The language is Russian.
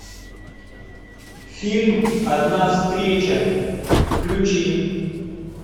фильм одна встреча включи